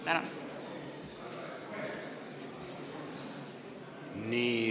Tänan!